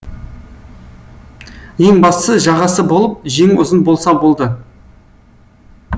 ең бастысы жағасы болып жеңі ұзын болса болды